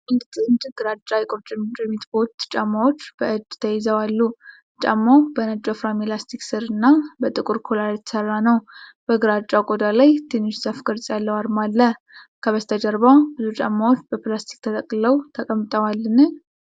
አንድ ጥንድ ግራጫ የቁርጭምጭሚት ቦት ጫማዎች በእጅ ተይዘው አሉ። ጫማው በነጭ ወፍራም የላስቲክ ስር እና በጥቁር ኮላር የተሰራ ነው። በግራጫው ቆዳ ላይ ትንሽ ዛፍ ቅርጽ ያለው አርማ አለ። ከበስተጀርባ ብዙ ጫማዎች በፕላስቲክ ተጠቅልለው ተቀምጠዋልን?